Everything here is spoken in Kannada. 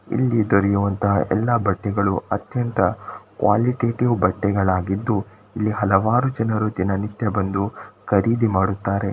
ಇಲ್ಲಿ ದೊರೆಯುವಂತ ಎಲ್ಲಾ ಬಟ್ಟೆಗಳು ಅತ್ಯಂತ ಕ್ವಾಲಿಟೇಟಿವ್ ಬಟ್ಟೆಗಳಾಗಿದ್ದು ಇಲ್ಲಿ ಹಲವಾರು ಜನರು ದಿನನಿತ್ಯ ಬಂದು ಖರೀದಿ ಮಾಡುತ್ತಾರೆ.